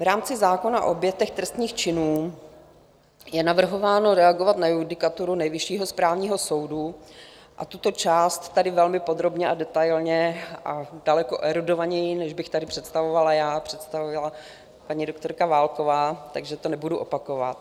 V rámci zákona o obětech trestných činů je navrhováno reagovat na judikaturu Nejvyššího správního soudu a tuto část tady velmi podrobně a detailně a daleko erudovaněji, než bych tady představovala já, představila paní doktorka Válková, takže to nebudu opakovat.